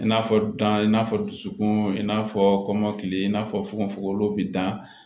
I n'a fɔ dan i n'a fɔ dusukun in n'a fɔ kɔmɔkili in n'a fɔkofokolon bɛ dan